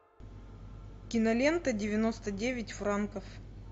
кинолента девяносто девять франков